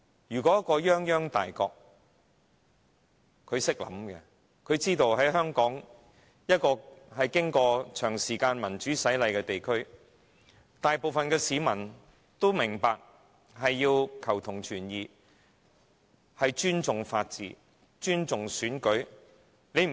如果泱泱大國懂得思考，便明白到香港是一個經過長時間民主洗禮的地方，大部分市民都明白要求同存異，尊重法治、尊重選舉。